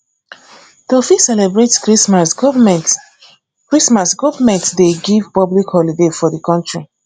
to fit celebrate christmas government christmas government dey give public holiday for di country